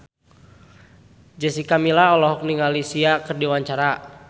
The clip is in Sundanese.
Jessica Milla olohok ningali Sia keur diwawancara